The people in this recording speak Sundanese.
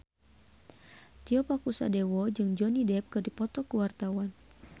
Tio Pakusadewo jeung Johnny Depp keur dipoto ku wartawan